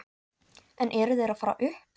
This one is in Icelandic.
En eru þeir að fara upp?